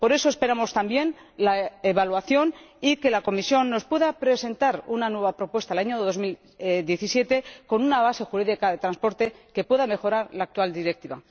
Por eso esperamos también la evaluación, y que la Comisión nos pueda presentar una nueva propuesta en el año 2017, con una base jurídica de transporte que pueda mejorar la actual Directiva.